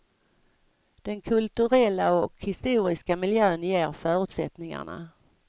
Den kulturella och historiska miljön ger förutsättningarna.